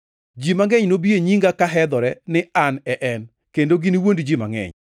Ji mangʼeny nobi e nyinga ka hedhore ni, ‘An e en,’ kendo giniwuond ji mangʼeny.